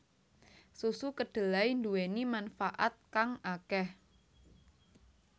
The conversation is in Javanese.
Susu kedelai nduweni manfaat kang akeh